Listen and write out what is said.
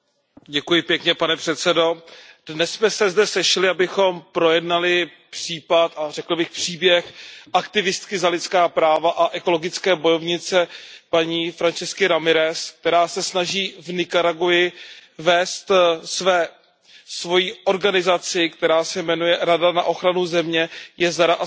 Pane předsedající, dnes jsme se zde sešli, abychom projednali případ, a řekl bych příběh, aktivistky za lidská práva a ekologické bojovnice Francisky Ramirezové, která se snaží v Nikaragui vést svoji organizaci, která se jmenuje Rada na ochranu země, jezera a suverenity,